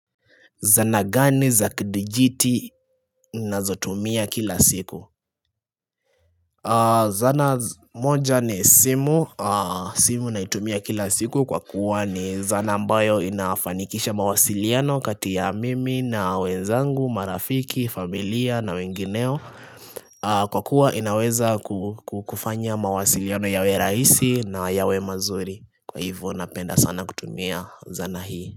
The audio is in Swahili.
Zana gani za kidijiti ninazotumia kila siku Zana moja ni simu simu naitumia kila siku kwa kuwa ni zana ambayo inafanikisha mawasiliano kati ya mimi na wenzangu, marafiki, familia na wengineo Kwa kuwa inaweza kufanya mawasiliano yawe raisi na yawe mazuri Kwa hivo napenda sana kutumia zana hii.